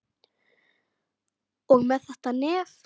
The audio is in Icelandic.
Og með þetta nef.